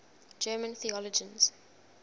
german theologians